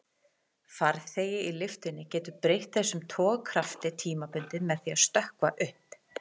Farþegi í lyftunni getur breytt þessum togkrafti tímabundið með því að stökkva upp.